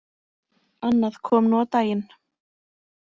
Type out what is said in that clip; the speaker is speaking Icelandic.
Annað kom nú á daginn.